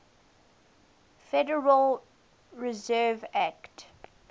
federal reserve act